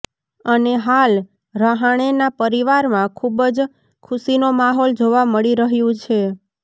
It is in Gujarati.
અને હાલ રહાણેના પરિવારમાં ખુબ જ ખુશીનો માહોલ જોવા મળી રહ્યું છે